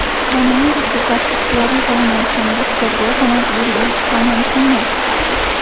Koronavirusga qarshi ixtiyoriy qilinayotgan buster doza majburiy bo‘lishi ham mumkin(mi)?.